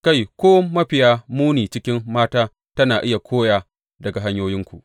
Kai, ko mafiya muni cikin mata tana iya koya daga hanyoyinku.